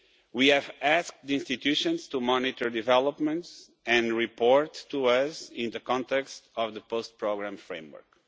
We have asked the institutions to monitor developments and report to us in the context of the post-programme framework.